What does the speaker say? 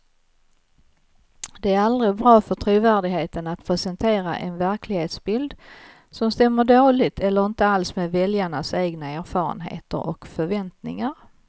Det är aldrig bra för trovärdigheten att presentera en verklighetsbild som stämmer dåligt eller inte alls med väljarnas egna erfarenheter och förväntningar.